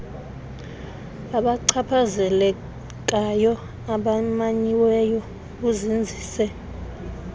babachaphazelekayo abamanyiweyo buzinzise